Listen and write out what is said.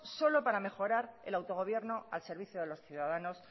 solo para mejor el autogobierno al servicio de los ciudadanos